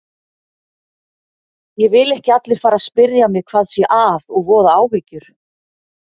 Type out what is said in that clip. Ég vil ekki að allir fari að spyrja mig hvað sé að og voða áhyggjur.